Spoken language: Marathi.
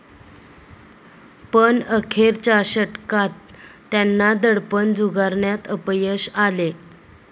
पण अखेरच्या षटकात त्यांना दडपण झुगारण्यात अपयश आले.